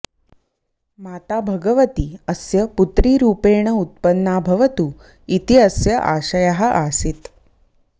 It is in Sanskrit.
माता भगवती अस्य पुत्रीरूपेण उत्पन्ना भवतु इति अस्य आशयः आसीत्